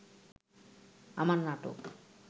আমার নাটক